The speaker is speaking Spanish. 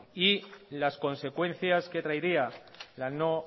y las consecuencias que traerían la no